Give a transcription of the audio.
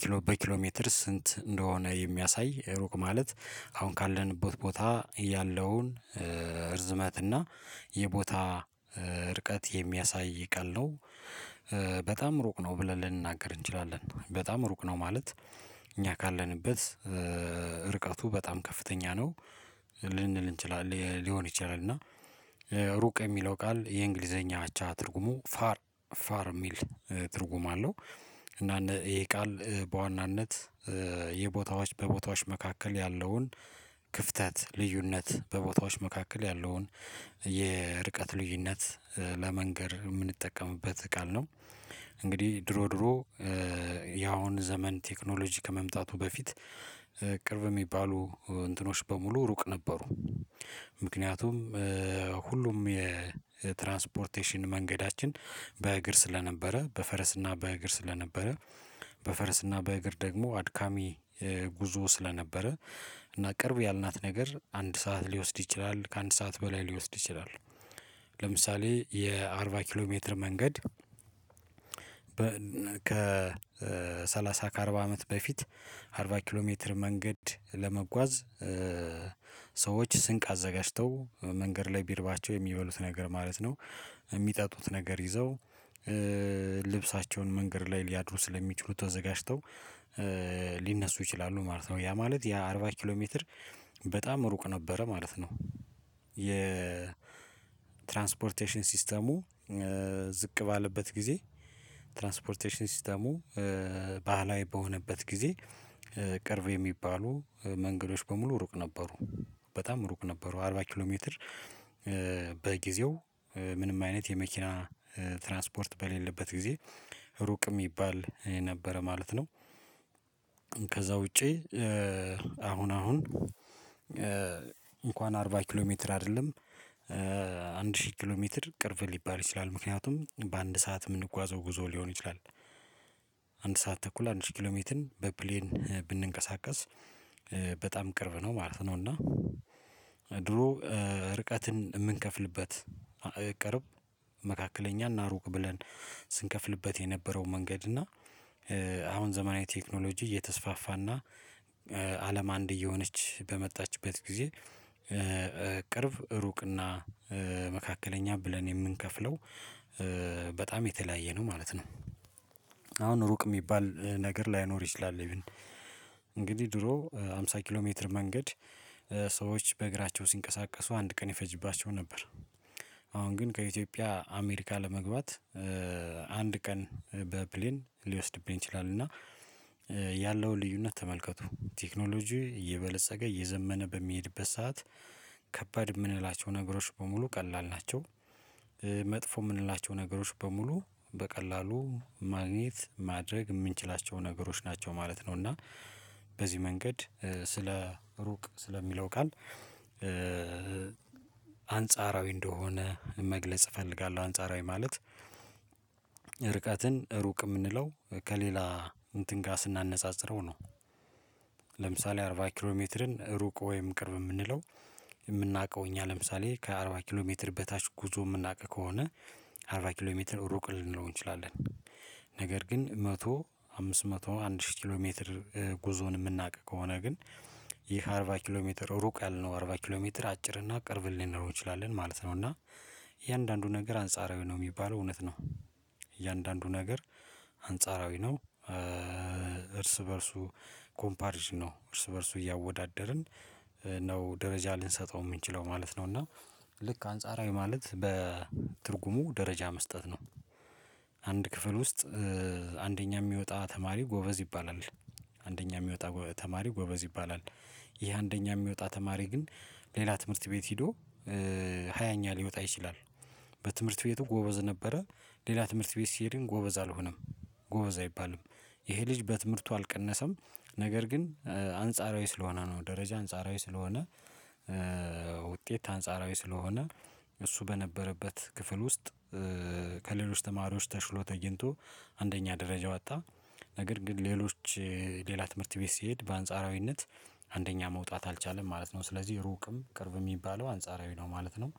ኪሎ በኪሎ ሜትር ስንት እንደሆነ የሚያሳይ ሩቅ ማለት አሁን ካለንበት ቦታ ያለውን እርዝመት እና የቦታ ርቀት የሚያሳይ ቃል ነው። በጣም ሩቅ ነው ብለን ልንናገር እንችላለን በጣም ሩቅ ነው ማለት እኛ ካለንበት ርቀቱ በጣም ከፍተኛ ነው ልንል እንችላለን ሊሆን ይችላል እና ሩቅ የሚለው ቃል የእንግሊዘኛ አቻ ትርጉሙ ፋር ፋር የሚል ትርጉም አለው። እና እነ ይሄ ቃል በዋናነት የቦታዎች በቦታዎች መካከል ያለውን ክፍተት ልዩነት በቦታዎች መካከል ያለውን የርቀት ልዩነት ለመንገር የምንጠቀምበት ቃል ነው። እንግዲህ ድሮ ድሮ ያሁን ዘመን ቴክኖሎጂ ከመምጣቱ በፊት ቅርብ የሚባሉ እንትኖች በሙሉ ሩቅ ነበሩ። ምክንያቱም ሁሉም የትራንስፖርቴሽን መንገዳችን በእግር ስለነበረ በፈረስና በእግር ስለነበረ በፈረስና በእግር ደግሞ አድካሚ ጉዞ ስለነበረ እና ቅርብ ያልናት ነገር አንድ ሰዓት ሊወስድ ይችላል ከአንድ ሰዓት በላይ ሊወስድ ይችላል። ለምሳሌ የአርባ ኪሎ ሜትር መንገድ ከሠላሳ ከአርባ አመት በፊት አርባ ኪሎ ሜትር መንገድ ለመጓዝ ሰዎች ስንቅ አዘጋጅተው መንገድ ላይ ቢርባቸው የሚበሉት ነገር ማለት ነው። የሚጠጡት ነገር ይዘው ልብሳቸውን መንገድ ላይ ሊያድሩ ስለሚችሉ ተዘጋጅተው ሊነሱ ይችላሉ ማለት ነው ያ ማለት ያ አርባ ኪሎ ሜትር በጣም ሩቅ ነበረ ማለት ነው። የትራንስፖርቴሽን ሲስተሙ ዝቅ ባለበት ጊዜ ትራንስፖርቴሽን ሲስተሙ ባህላዊ በሆነበት ጊዜ ቅርብ የሚባሉ መንገዶች በሙሉ ሩቅ ነበሩ በጣም ሩቅ ነበሩ አርባ ኪሎ ሜትር በጊዜው ምንም አይነት የመኪና ትራንስፖርት በሌለበት ጊዜ ሩቅ የሚባል የነበረ ማለት ነው። ከዛ ውጪ አሁን አሁን እንኳን አርባ ኪሎ ሜትር አይደለም አንድ ሺህ ኪሎ ሜትር ቅርብ ሊባል ይችላል ምክንያቱም በአንድ ሰዓት የምንጓዘው ጉዞ ሊሆን ይችላል። አንድ ሰዓት ተኩል አንድ ኪሎ ሜትር በፕሌን ብንቀሳቀስ በጣም ቅርብ ነው ማለት ነው። እና ድሮ ርቀትን የምንከፍልበት ቅርብ መካከለኛ እና ሩቅ ብለን ስንከፍልበት የነበረው መንገድ እና አሁን ዘመናዊ ቴክኖሎጂ እየተስፋፋና አለም አንድ እየሆነች በመጣችበት ጊዜ ቅርብ ሩቅና መካከለኛ ብለን የምንከፍለው በጣም የተለያየ ነው ማለት ነው። አሁን ሩቅ የሚባል ነገር ላይኖር ይችላል እንግዲህ ድሮ አምሳ ኪሎ ሜትር መንገድ ሰዎች በእግራቸው ሲንቀሳቀሱ አንድ ቀን ይፈጅባቸው ነበር። አሁን ግን ከኢትዮጵያ አሜሪካ ለመግባት አንድ ቀን በፕሌን ሊወስድብኝ ይችላል እና ያለውን ልዩነት ተመልከቱ ቴክኖሎጂ እየበለፀገ እየዘመነ በሚሄድበት ሰዓት ከባድ የምንላቸው ነገሮች በሙሉ ቀላል ናቸው። መጥፎ የምንላቸው ነገሮች በሙሉ በቀላሉ ማግኘት ማድረግ የምንችላቸው ነገሮች ናቸው ማለት ነው። እና በዚህ መንገድ ስለ ሩቅ ስለሚለው ቃል አንጻራዊ እንደሆነ መግለጽ እፈልጋለሁ አንጻራዊ ማለት ርቀትን ሩቅ የምንለው ከሌላ እንትን ጋር ስናነጻጽረው ነው። ለምሳሌ አርባ ኪሎ ሜትርን ሩቅ ወይም ቅርብ የምንለው የምናውቀው እኛ ለምሳሌ ከአርባ ኪሎ ሜትር በታች ጉዞ የምናውቅ ከሆነ አርባ ኪሎ ሜትር ሩቅ ልንለው እንችላለን። ነገር ግን መቶ አምስት መቶ አንድ ሺህ ኪሎሜትር ጉዞን የምናውቅ ከሆነ ግን ይህ አርባ ኪሎ ሜትር ሩቅ ያልነው አርባ ኪሎ ሜትር አጭር እና ቅርብን ልንለው እንችላለን ማለት ነው። እና እያንዳንዱ ነገር አንጻራዊ ነው የሚባለው እውነት ነው እያንዳንዱ ነገር አንጻራዊ ነው እርስ በእርሱ ኮምፓሪዥን ነው እርስ በእርሱ እያወዳደርን ነው ደረጃ ልንሰጠው የምንችለው ማለት ነው እና ልክ አንጻራዊ ማለት በትርጉሙ ደረጃ መስጠት ነው። አንድ ክፍል ውስጥ አንደኛ የሚወጣ ተማሪ ጎበዝ ይባላል አንደኛ የሚወጣ ጎበዝ ተማሪ ጎበዝ ይባላል ይሄ አንደኛ የሚወጣ ተማሪ ግን ሌላ ትምህርት ቤት ሄዶ ሃያኛ ኛ ሊወጣ ይችላል። በትምህርት ቤቱ ጎበዝ ነበረ ሌላ ትምህርት ቤት ሲሄድ ግን ጎበዝ አልሆነም ጎበዝ አይባልም ይሄ ልጅ በትምህርቱ አልቀነሰም ነገር ግን አንጻራዊ ስለሆነ ነው ደረጃ አንጻራዊ ስለሆነ ውጤት አንጻራዊ ስለሆነ እሱ በነበረበት ክፍል ውስጥ ከሌሎች ተማሪዎች ተሽሎ ተገኝቶ አንደኛ ደረጃ ወጣ ነገር ግን ሌሎች ሌላ ትምህርት ቤት ሲሄድ በአንጻራዊነት አንደኛ መውጣት አልቻለም ማለት ነው። ስለዚህ ሩቅም ቅርብም የሚባለው አንጻራዊ ነው ማለት ነው